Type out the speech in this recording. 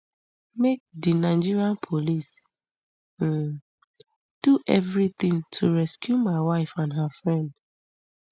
make di nigeria police um do evritin to rescue my wife and her friend